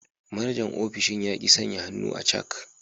Manajan ofishin ya ki sanya hannu a cak.